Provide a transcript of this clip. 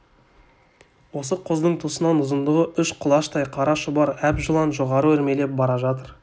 осы құздың тұсынан ұзындығы үш құлаштай қара шұбар әп жылан жоғары өрмелеп бара жатыр